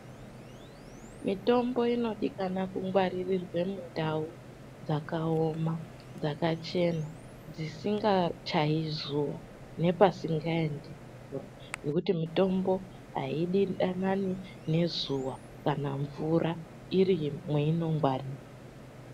Mitombo inodikana kungwarirwe mundau dzakaoma, dzakachena dzisingachayi zuwa nepasingaendi mvura ngekuti mitombo aidanani nezuwa kana mvura iri mweinongwarirwa.